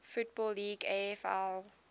football league afl